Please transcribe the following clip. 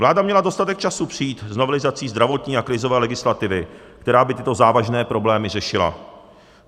Vláda měla dostatek času přijít s novelizací zdravotní a krizové legislativy, která by tyto závažné problémy řešila.